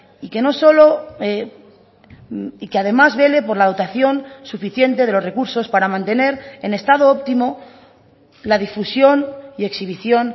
y que no solo y que además vele por la dotación suficiente de los recursos para mantener en estado óptimo la difusión y exhibición